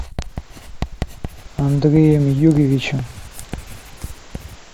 андреем юрьевичем